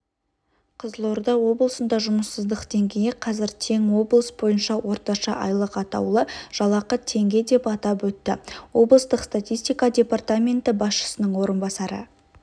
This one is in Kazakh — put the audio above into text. қызылорда облысында жұмыссыздық деңгейі қазір тең облыс бойынша орташа айлық атаулы жалақы теңге деп атап өтті облыстық статистика департаменті басшысының орынбасары